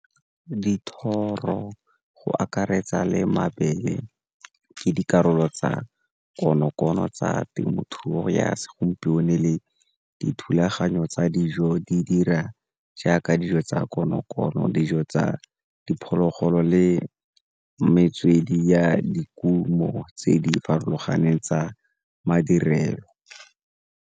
Dithoro go akaretsa le mabele ke dikarolo tsa konokono tsa temothuo ya segompieno le dithulaganyo tsa dijo di dira jaaka dijo tsa konokono, dijo tsa diphologolo le metswedi ya dikumo tse di farologaneng tsa madirelo.